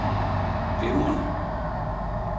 glimrende